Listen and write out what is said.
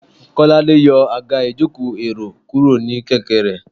kolade yòò agá ìjokò- erò kuro ní kẹkẹ re